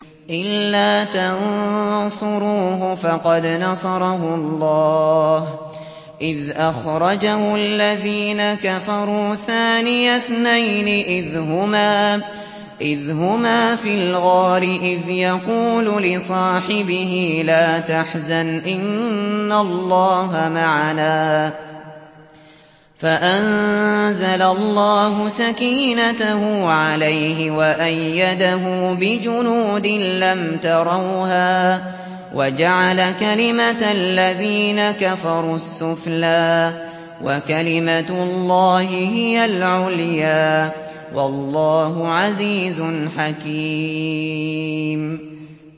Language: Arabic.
إِلَّا تَنصُرُوهُ فَقَدْ نَصَرَهُ اللَّهُ إِذْ أَخْرَجَهُ الَّذِينَ كَفَرُوا ثَانِيَ اثْنَيْنِ إِذْ هُمَا فِي الْغَارِ إِذْ يَقُولُ لِصَاحِبِهِ لَا تَحْزَنْ إِنَّ اللَّهَ مَعَنَا ۖ فَأَنزَلَ اللَّهُ سَكِينَتَهُ عَلَيْهِ وَأَيَّدَهُ بِجُنُودٍ لَّمْ تَرَوْهَا وَجَعَلَ كَلِمَةَ الَّذِينَ كَفَرُوا السُّفْلَىٰ ۗ وَكَلِمَةُ اللَّهِ هِيَ الْعُلْيَا ۗ وَاللَّهُ عَزِيزٌ حَكِيمٌ